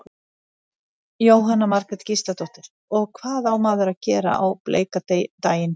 Jóhanna Margrét Gísladóttir: Og hvað á maður að gera á bleika daginn?